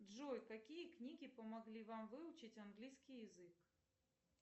джой какие книги помогли вам выучить английский язык